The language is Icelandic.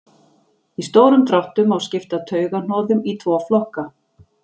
Í stórum dráttum má skipta taugahnoðum í tvo flokka.